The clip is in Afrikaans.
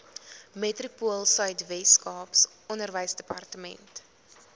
metropoolsuid weskaap onderwysdepartement